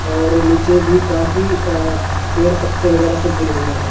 और नीचे भी काफी अह पेड़ पत्ते वगैरह गिरे हुए हैं।